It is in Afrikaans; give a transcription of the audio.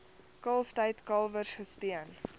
kalftyd kalwers gespeen